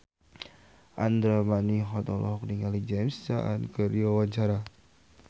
Andra Manihot olohok ningali James Caan keur diwawancara